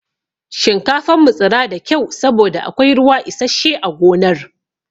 Shinkafan mu tsira da kyau saboda akwai ruwa isashshe a gonar.